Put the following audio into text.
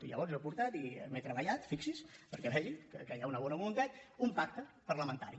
i llavors jo he portat i m’he treballat fixi’s perquè vegi que hi ha una bona voluntat un pacte parlamentari